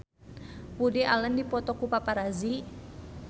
Woody Allen dipoto ku paparazi